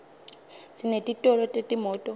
sinetitolo tetimoto